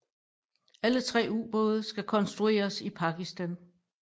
Alle tre ubåde skal konstrueres i Pakistan